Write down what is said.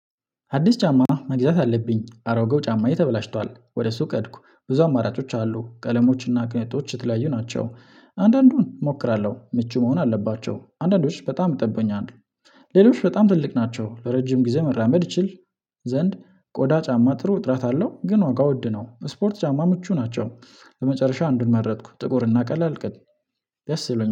አዲስ ጫማ መግዛት አለብኝ አሮጌው ጫማዬ ተበላሽቷል ወደ እሱ ቀድኩ ብዙ አማራጮች አሉ ቀለሞችና ቅንጡዎች የተለያዩ ናቸው አንዳንዱን እሞክራለሁ ምቹ መሆን አለባቸው አንዳንዶች በጣም ይጠቡኛል። ሌሎች በጣም ትልቅ ናቸው ለረጅም ጊዜ መራመድ ይችል። ዘንድ ቆዳ ጫማ ጥሩ ጥራት አለው። ግን ዋጋ ወድ ነው። ስፖርት ጫማ ምቹ ናቸው ለመጨረሻ አንዱን መረጥኩ። ጥቁር እና ቀላል ቀድም ያሰበኝ